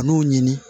A n'o ɲini